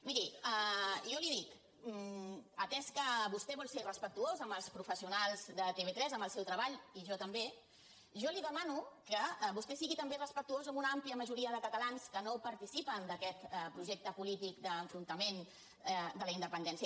miri jo li dic atès que vostè vol ser respectuós amb els professionals de tv3 amb el seu treball i jo també jo li demano que vostè sigui també respectuós amb una àmplia majoria de catalans que no participen d’aquest projecte polític d’enfrontament de la independència